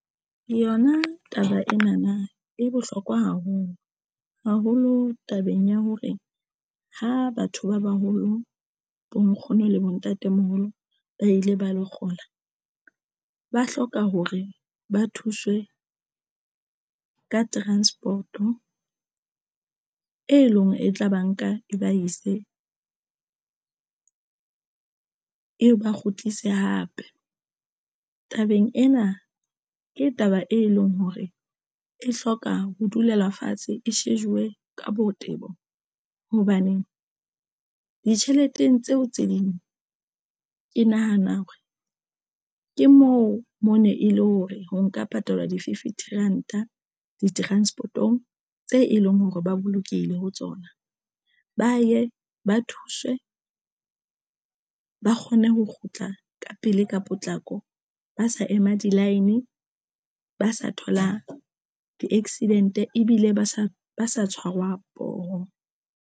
Yona taba ena na e bohlokwa haholo, haholo tabeng ya hore ha batho ba baholo bo nkgono le bontatemoholo ba ile ba lo kgola ba hloka hore ba thuswe ka transport-o e leng hore e tla ba nka kobo, e se e ba kgutlise hape tabeng ena. Ke taba e leng hore e hloka ho dula fatshe e shejuwe ka botebo. Hobaneng ditjheleteng tseo tse ding ke nahana hore ke moo mo ne e le hore ho nka patalwa di fifty ranta di transport-o tse e leng hore ba bolokehile ho tsona. Ba ye ba thuswe, ba kgone ho kgutla ka pele ka potlako, ba sa ema di-line, ba sa tholang di-accident ebile ba sa ba sa tshwarwa poho.